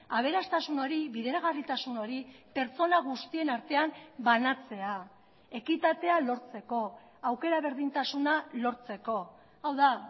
aberastasun hori bideragarritasun hori pertsona guztien artean banatzea ekitatea lortzeko aukera berdintasuna lortzeko hau da